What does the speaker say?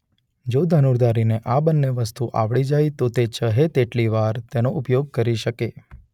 જો ધનુર્ધારી ને આ બન્ને વસ્તુ આવડી જાય તો તે ચહે તેટલી વાર તેનો ઉપયોગ કરી શકે.